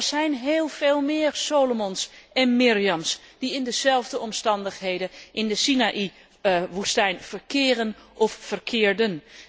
Maar er zijn heel veel meer Solomons en Myriams die in dezelfde omstandigheden in de Sinaïwoestijn verkeren of verkeerden.